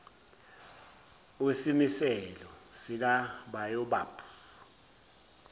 wesimiselo sika baobab